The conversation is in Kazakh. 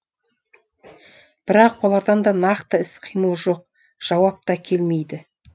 бірақ олардан да нақты іс қимыл жоқ жауап та келмейді